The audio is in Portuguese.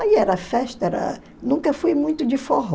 Aí era festa, era nunca fui muito de forró.